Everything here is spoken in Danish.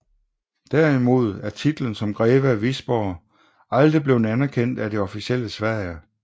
Derimod er titlen som greve af Wisborg aldrig blevet anerkendt af det officielle Sverige